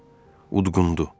Udqundu.